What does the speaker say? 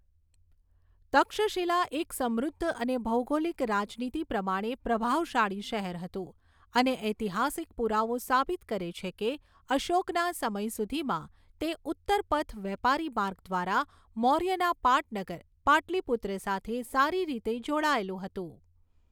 તક્ષશિલા એક સમૃદ્ધ અને ભૌગોલિક રાજનીતિ પ્રમાણે પ્રભાવશાળી શહેર હતું અને ઐતિહાસિક પુરાવો સાબિત કરે છે કે અશોકના સમય સુધીમાં, તે ઉત્તરપથ વેપારી માર્ગ દ્વારા મૌર્યના પાટનગર પાટલિપુત્ર સાથે સારી રીતે જોડાયેલું હતું.